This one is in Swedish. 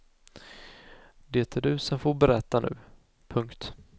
Det är du som får berätta nu. punkt